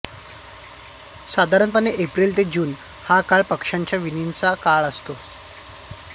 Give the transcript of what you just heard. साधारणपणे एप्रिल ते जून हा काळ पक्ष्यांचा विणीचा काळ असतो